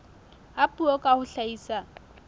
a puo ka ho hlahisa